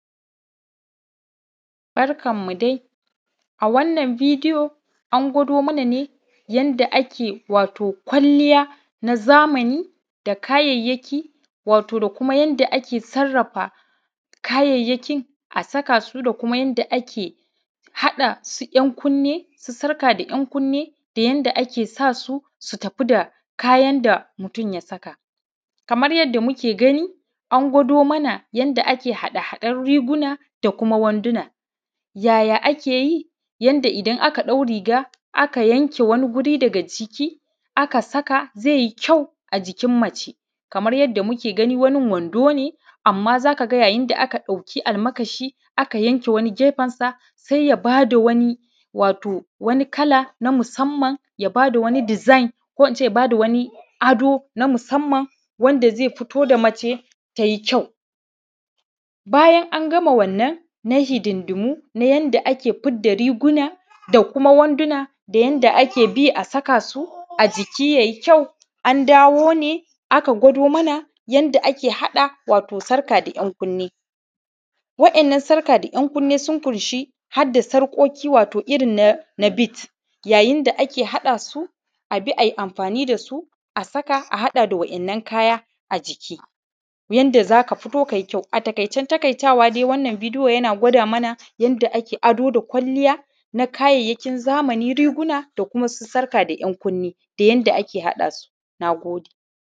Barkan mu dai a wannan bideyon an gwado mana ne wato yanda ake kwalliya na zamani, da kayayyaki wato da kuma yanda ake sarrafa kayayyakin a saka su da kuma yan da ake wa haɗa wato ɗan kunni, su sarƙa da ɗan kunni da yanda ake sa su tafi da kayan da mutun ya saka. Kamar yanda muke gani an gwado mana wato yanda ake haɗe haɗen riguna da kuma wanduna. Yaya akeyi idan aka ɗau riga aka yanke wani guri daga ciki aka zai yi kyau ajikin mace kamar yanda muke gani wando ne amma za kaga ya yinda aka ɗauki almakashi aka yanke wani gefen sai ya daba wani wato wani kala na musamman ya bada wani dizain ko ince bada wani ado na musamman wanda zai fito da mace tai kyau. Bayan angama wannan na hidin dimu na yadda ake fidda riguna da kuma wanduna da yadda ake bi a saka su a jiki yayi kyau. an dawo ne aka gwado mana wato yanda ake haɗa sarka da ‘yan’ kunni, wa yannan sarka da ‘yan’ kunni sun kunshi hadda ake haɗa sarka na bit, ya yinda ake haɗa su abi ai amfani dasu a da saka a haɗa wa’yan’nan kaya a ciki yanda zaka fito kai kyau. a taƙaicen taƙaitawa dai wannan bediyo yana gwada mana yanda ake ado da kwalliya na kayayyakin zamani riguna da kuma sarƙa da ‘yan’ kunni da kuma yanda ake haɗa su nagode.